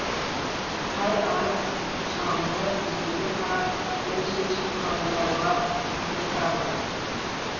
әр арыз шағымды жеке қарап оң шешім қабылдауға тырысамын